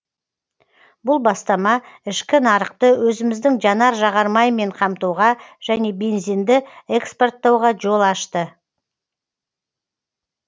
бұл бастама ішкі нарықты өзіміздің жанар жағармаймен қамтуға және бензинді экспорттауға жол ашты